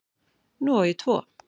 Nú á ég tvo